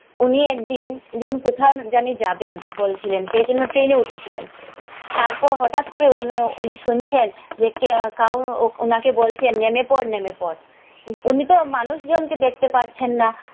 উনি একদিন কোথায় জানি যাবেন বলছিলেন সেইজন্যে ট্রেনে উঠেছিলেন। তারপর হঠাৎ করে উনি শুনছেন, যে কে কাউর ওনাকে বলছেন নেমে পড় নেমে পড়, উনি তো মানুষ জন কে দেখতে পাচ্ছেন না।